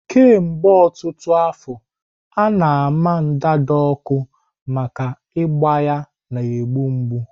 Kemgbe ọtụtụ afọ, a na-ama ndanda ọkụ maka ágbà ya na-egbu mgbu.